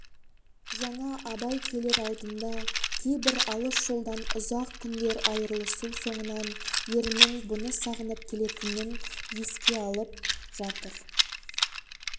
жаңа абай келер алдында кейбір алыс жолдан ұзақ күндер айырылысу соңынан ерінің бұны сағынып келетінін еске алып жатыр